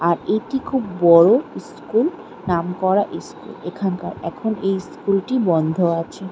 আর এটি খুব বড় স্কুল নামকরা স্কুল এখানকার এখন এই স্কুল -টি বন্ধ আছে ।